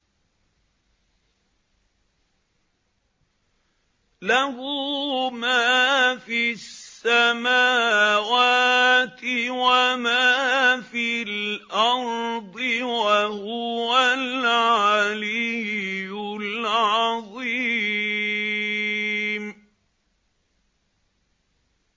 لَهُ مَا فِي السَّمَاوَاتِ وَمَا فِي الْأَرْضِ ۖ وَهُوَ الْعَلِيُّ الْعَظِيمُ